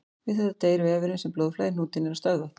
Við þetta deyr vefurinn þar sem blóðflæði í hnútinn er stöðvað.